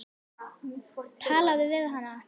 Talaðu við hana.